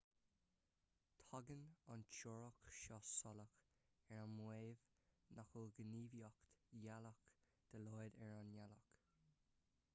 tagann an teoiric seo salach ar an maíomh nach bhfuil gníomhaíocht gheolaíoch dá laghad ar an ngealach